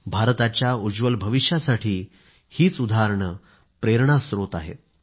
भारताच्या उज्ज्वल भविष्यासाठी हीच उदाहरणं प्रेरणा स्त्रोत आहेत